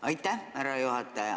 Aitäh, härra juhataja!